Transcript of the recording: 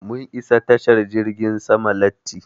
Mun isa tashar jirgin sama latti.